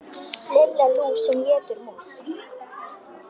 Lilla lús sem étur mús.